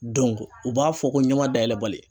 u b'a fɔ ko ɲɛma dayɛlɛ bali.